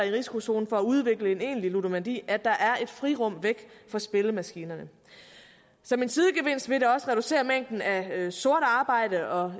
i risikozonen for at udvikle en egentlig ludomani at der er et frirum væk fra spillemaskinerne som en sidegevinst vil det også reducere mængden af sort arbejde og